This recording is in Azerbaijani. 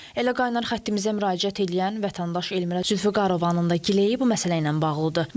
Elə qaynar xəttimizə müraciət eləyən vətəndaş Elmira Zülfüqarovanın da gileyi bu məsələ ilə bağlıdır.